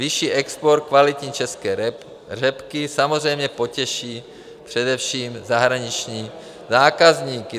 Vyšší export kvalitní české řepky samozřejmě potěší především zahraniční zákazníky.